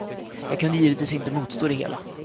Jag kunde givetvis inte motstå det hela.